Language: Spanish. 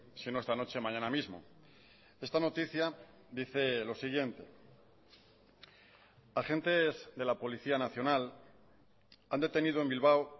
si no esta noche mañana mismo esta noticia dice lo siguiente agentes de la policía nacional han detenido en bilbao